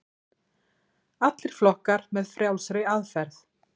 Allir flokkar með frjálsri aðferð